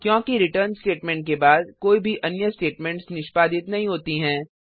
क्योंकि return statement के बाद कोई भी अन्य स्टेटमेंट्स निष्पादित नहीं होती हैं